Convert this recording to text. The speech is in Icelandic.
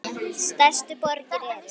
Stærstu borgir eru